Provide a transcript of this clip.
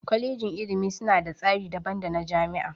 Kwalejin ilimi suna da tsari daban dana jami'a.